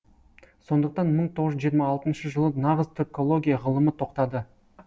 сондықтан мың тоғыз жүз жиырма алтыншы жылы нағыз түркология ғылымы тоқтады